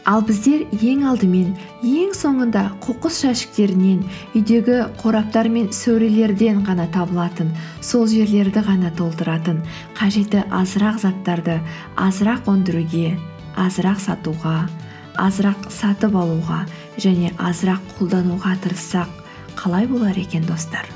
ал біздер ең алдымен ең соңында қоқыс жәшіктерінен үйдегі қораптар мен сөрелерден ғана табылатын сол жерлерді ғана толтыратын қажеті азырақ заттарды азырақ өндіруге азырақ сатуға азырақ сатып алуға және азырақ қолдануға тырыссақ қалай болар екен достар